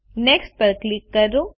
next પર click કરો